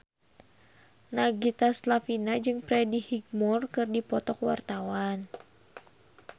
Nagita Slavina jeung Freddie Highmore keur dipoto ku wartawan